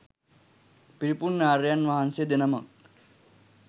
පිරිපුන් ආර්යයන් වහන්සේ දෙනමක්.